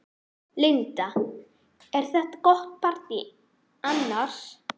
Linda: Er þetta gott partý annars?